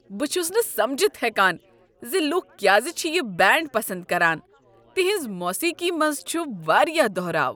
بہٕ چھسنہٕ سمجتھ ہیکاان زِ لکھ کیازِ چھ یہ بینڈ پسند کران۔ تہنٛز موسیقی منز چھُ واریاہ دہراو۔